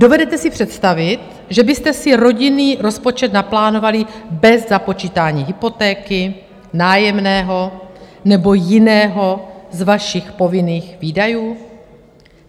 Dovedete si představit, že byste si rodinný rozpočet naplánovali bez započítání hypotéky, nájemného nebo jiného z vašich povinných výdajů?